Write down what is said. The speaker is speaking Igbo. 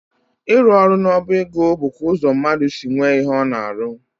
Ịrụ ọrụ n'ọba ego bụkwa ụzọ mmadụ si nwee ihe ọ na-arụ.